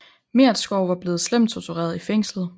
Meretskov var blevet slemt tortureret i fængslet